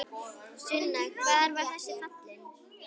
Sunna: Hvar var þessi falinn?